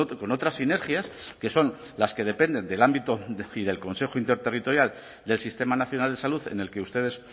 con otras sinergias que son las que dependen del ámbito y del consejo interterritorial del sistema nacional de salud en el que ustedes